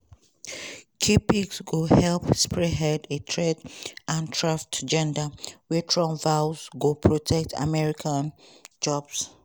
key picks go help spearhead a trade and tariff agenda wey trump vows go protect american jobs.